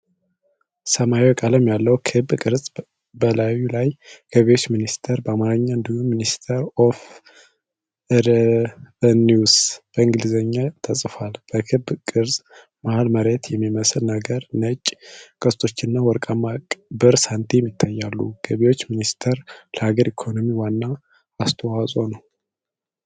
ሰማያዊ ቀለም ያለው ክብ ቅርጽ በላዩ ላይ 'ገቢዎች ሚኒስቴር' በአማርኛ እንዲሁም 'ሚኒስትሪ ኦፍ ሬቨኒውስ' በእንግሊዝኛ ተጽፏል። በክብ ቅርጹ መሃል መሬት የሚመስል ነገር፣ ነጭ ቀስቶችና ወርቃማ ብር ሳንቲም ይታያሉ። ገቢዎች ሚኒስቴር ለሀገር ኢኮኖሚ ዋና አስተዋጽኦው ምንድን ነው?